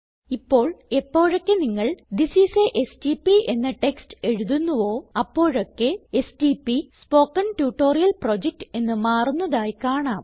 ഇപ്പോൾ എപ്പോഴൊക്കെ നിങ്ങൾ തിസ് ഐഎസ് a എസ്ടിപി എന്ന ടെക്സ്റ്റ് എഴുതുന്നുവോ അപ്പോഴൊക്കെ എസ്ടിപി സ്പോക്കൻ ട്യൂട്ടോറിയൽ പ്രൊജക്ട് എന്ന് മാറുന്നതായി കാണാം